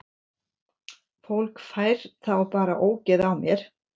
Fólk fær þá bara ógeð á mér.